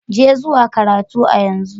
Je zuwa karatu a yanzu!